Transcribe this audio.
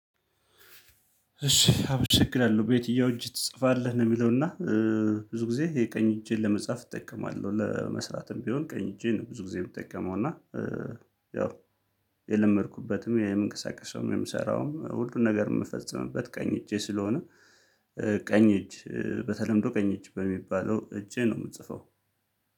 እሺ አመሰግናለሁ ቤትኛው እጅ ትጽፋለህ ነው የሚለው። እና ብዙ ጊዜ የቀኝ እጄን ለመጻፍ እጠቀማለሁ ለመስራትም ቢሆን ቀኝ እጄን ነው ብዙ ጊዜ የምጠቀመው። እና ያው የለመድኩበትም የምንቀሳቀሰውም የምሰራውም ሁሉን ነገር የምፈጽምበት ቀኝ እጄ ስለሆነ። ቀኝ እጅ በተለምዶ ቀኝ እጅ በሚባለው እጄ ነው የምጽፈው